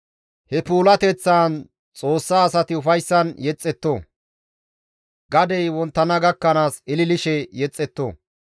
He puulateththaan Xoossa asati ufayssan yexxetto; gadey wonttana gakkanaas ililishe yexxetto.